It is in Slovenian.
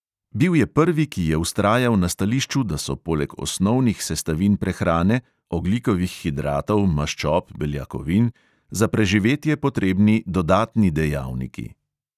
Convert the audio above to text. Bil je prvi, ki je vztrajal na stališču, da so poleg osnovnih sestavin prehrane (ogljikovih hidratov, maščob, beljakovin …) za preživetje potrebni "dodatni dejavniki".